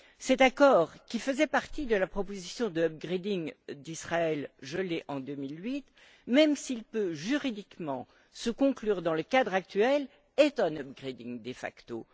Cet accord, qui faisait partie de la proposition d' upgrading d'Israël, gelée en 2008, même s'il peut juridiquement se conclure dans le cadre actuel, est un upgrading de facto.